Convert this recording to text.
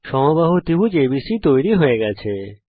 একটি সমবাহু ত্রিভুজ এবিসি তৈরী হয়ে গেছে